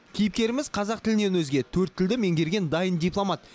кейіпкеріміз қазақ тілінен өзге төрт тілді меңгерген дайын дипломат